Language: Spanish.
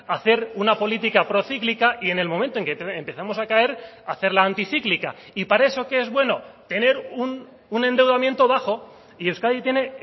hacer una política procíclica y en el momento en que empezamos a caer hacerla anticíclica y para eso qué es bueno tener un endeudamiento bajo y euskadi tiene